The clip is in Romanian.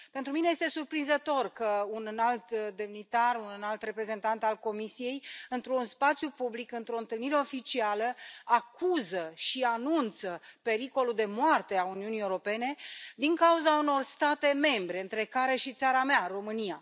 Pentru mine, este surprinzător că un înalt demnitar, un înalt reprezentant al Comisiei, într un spațiu public, într o întâlnire oficială, acuză și anunță pericolul de moarte a Uniunii Europene din cauza unor state membre, între care și țara mea, România.